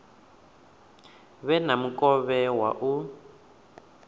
vhe na mukovhe wa u